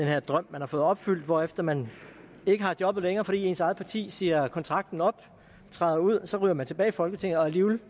her drøm man har fået opfyldt hvorefter man ikke har jobbet længere fordi ens eget parti siger kontrakten op træder ud så ryger man tilbage i folketinget og alligevel